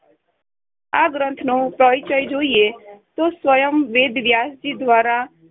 આ ગ્રંથ નો પરિચય જોઈએ તો સ્વયં વેદ વ્યાસજી દ્વારા